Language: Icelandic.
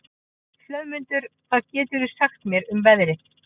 Hlöðmundur, hvað geturðu sagt mér um veðrið?